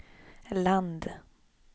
land